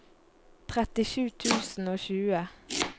trettisju tusen og tjue